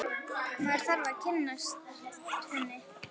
Maður þarf að kynnast henni!